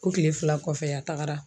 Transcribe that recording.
O kile fila kɔfɛ a taagara.